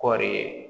Kɔɔri